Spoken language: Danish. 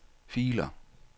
filer